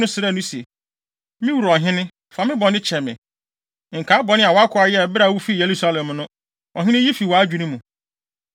srɛɛ no se, “Me wura ɔhene, fa me bɔne kyɛ me. Nkae bɔne a wʼakoa yɛe bere a wufii Yerusalem no Ɔhene yi fi wʼadwene mu.